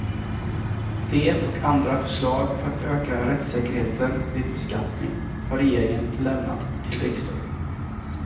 Det och andra förslag för att öka rättssäkerheten vid beskattning har regeringen lämnat till riksdagen.